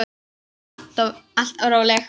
Hún var alltaf róleg.